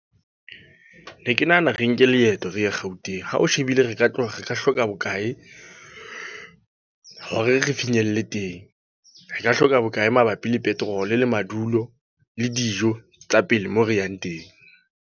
Ne ke nahana re nke leeto re ye Gauteng. Ha o shebile re ka hlola, re ka hloka bokae? Hore re finyelle teng. Re ka hloka bokae mabapi le petrol le madulo, le dijo tsa pele moo re yang teng?